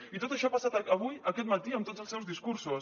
i tot això ha passat avui aquest matí amb tots els seus discursos